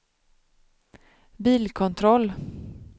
bilkontroll